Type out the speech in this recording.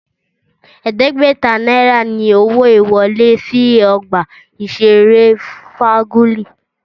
Ẹ̀ẹ́dẹ́gbẹ̀ta náírà ni owó ìwọlé sí ọgbà ìṣeré Fájuyì